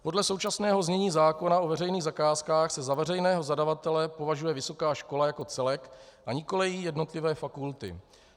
Podle současného znění zákona o veřejných zakázkách se za veřejného zadavatele považuje vysoká škola jako celek, a nikoliv její jednotlivé fakulty.